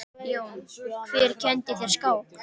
Jón: Hver kenndi þér skák?